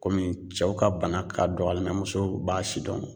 Kɔmi cɛw ka bana ka dɔgɔ mɛ musow b'a si dɔn